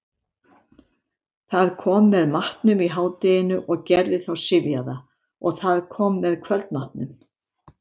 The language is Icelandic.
Það kom með matnum í hádeginu og gerði þá syfjaða, og það kom með kvöldmatnum.